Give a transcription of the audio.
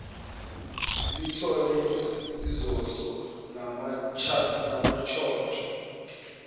lithole izoso namantshontsho